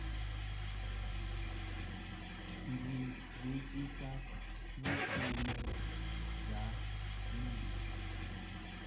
ndzi vekisa vukhume bya mina